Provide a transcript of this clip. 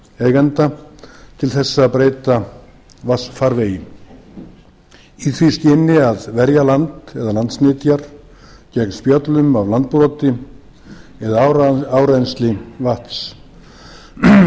fasteignaeigenda til að breyta vatnsfarvegi í því skyni að verja land eða landsnytjar gegn spjöllum af landbroti eða árennsli vatns